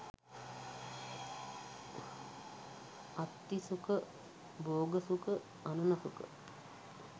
අත්ථී සුඛ, භෝග සුඛ, අණන සුඛ,